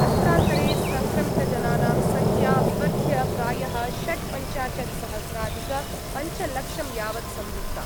अत्रान्तरे सङ्क्रमितजनानां संख्या विवर्ध्य प्रायः षड्पञ्चाशत्सहस्राधिकपञ्चलक्षं यावत् संवृत्ता।